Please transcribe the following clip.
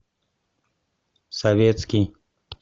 советский